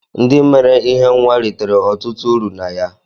Ndị mere ihe nwa ritere ọtụtụ uru na ya